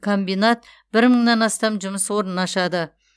комбинат бір мыңнан астам жұмыс орнын ашады